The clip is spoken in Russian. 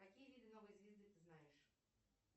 какие виды новой звезды ты знаешь